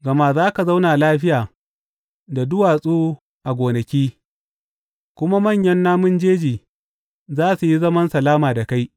Gama za ka zauna lafiya da duwatsu a gonaki, kuma manyan namun jeji za su yi zaman salama da kai.